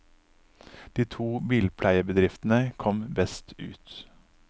De to bilpleiebedriftene kom best ut.